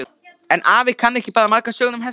En afi kann ekki bara margar sögur um hesta.